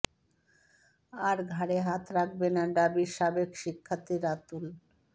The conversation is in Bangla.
আর ঘাড়ে হাত রাখবে না ঢাবির সাবেক শিক্ষার্থী রাতুল